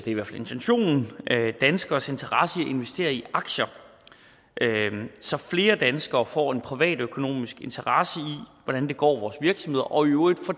i hvert fald intentionen danskeres interesse i at investere i aktier så flere danskere får en privatøkonomisk interesse i hvordan det går vores virksomheder og i øvrigt får